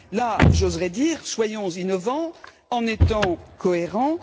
Là j'oserais dire soyons innovants en étant cohérents.